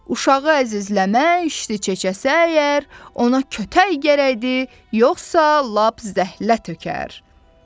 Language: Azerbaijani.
Uşağı əzizləmək, işti çəkəsə əgər, ona kötək gərəkdi, yoxsa lap zəhlə tökər.